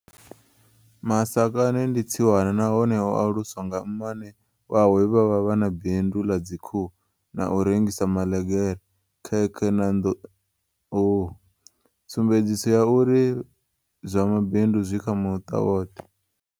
Masakane ndi tsiwana na hone o aluswa nga mmane wawe vhe vha vha vha na bindu ḽa dzikhuhu na u rengisa maḽegere, khekhe na nḓuhu, tsumbedziso ya uri zwa ma bindu zwi kha muṱa woṱhe.